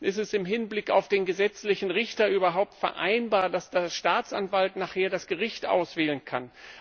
Ist es im Hinblick auf den gesetzlichen Richter überhaupt vereinbar, dass der Staatsanwalt nachher das Gericht auswählen kann?